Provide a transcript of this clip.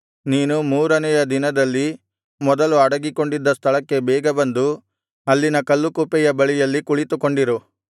ನೀನು ಮೂರನೆಯ ದಿನದಲ್ಲಿ ಮೊದಲು ಅಡಗಿಕೊಂಡಿದ್ದ ಸ್ಥಳಕ್ಕೆ ಬೇಗ ಬಂದು ಅಲ್ಲಿನ ಕಲ್ಲುಕುಪ್ಪೆಯ ಬಳಿಯಲ್ಲಿ ಕುಳಿತುಕೊಂಡಿರು